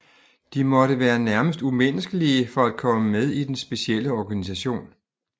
De måtte være nærmest umenneskelige for at komme med i den specielle organisation